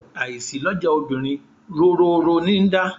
Àìsí lọ́jà obìnrin róroòró níi dá.